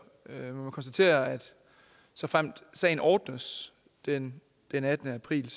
vi må konstatere at såfremt sagen ordnes den den attende april